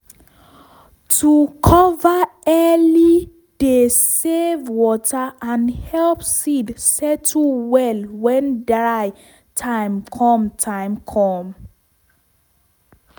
to cover early dey save water and help seed settle well when dry time com time com